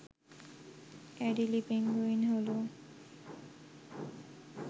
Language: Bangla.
অ্যাডিলি পেঙ্গুইন হল